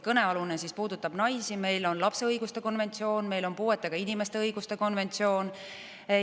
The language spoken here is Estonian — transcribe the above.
Kõnealune puudutab naisi, meil on ka lapse õiguste konventsioon, meil on puuetega inimeste õiguste konventsioon.